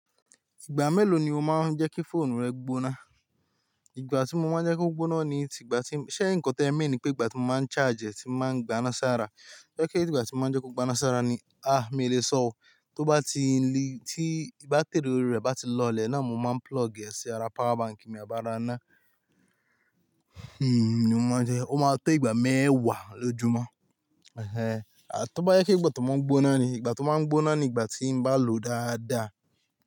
Ìgbà mélòó ni o máa ń jẹ́ kí fóònù rẹ gbóná? Ìgbà tí mo máa ń jẹ́ kó gbóná ni ìgbà tí, ṣé ǹkan ti e mean ni pé ìgbà tí mo máa ń charge ẹ́ tí o máa ń gbaná sára. To je pe ti ìgbà tí mo máa ń jẹ́ kó gbaná sára ni, ah! Mi ò lè sọ ó. Tó bá ti n li, tí bátìrì ori rẹ̀ bá ti lọlẹ̀ náà mo máa ń plug ẹ sí ara power bank mi, abi ra ná. Hmmm, mo máa jẹ́, ó máa tó ìgbà mẹ́wàá lójúmọ́. Ẹ̀hẹ́n, a tó bá jẹ pe ìgbà tó máa ń gbóná ni, ìgbà tó máa ń gbóná ni ìgbà tí ń bá lò dáadáa.